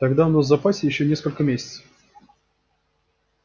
тогда у нас в запасе ещё несколько месяцев